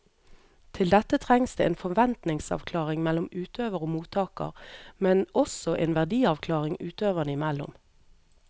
Til dette trengs det en forventningsavklaring mellom utøver og mottaker, men også en verdiavklaring utøverne imellom.